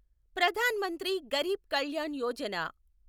Pradhan Mantri Garib Kalyan Yojana